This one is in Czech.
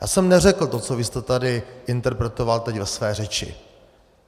Já jsem neřekl to, co vy jste tady interpretoval teď ve své řeči.